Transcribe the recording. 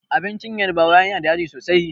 Abincin yarbawa yana da yaji sosai.